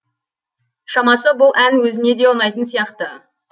шамасы бұл ән өзіне де ұнайтын сияқты